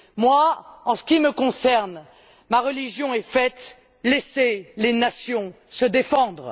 Moi, en ce qui me concerne, ma religion est faite laissez les nations se défendre!